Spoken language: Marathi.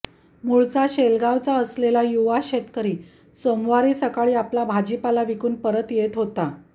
मूळचा शेलगाव असलेला युवा शेतकरी सोमवारी सकाळी आपला भाजीपाला विकून परत येत होता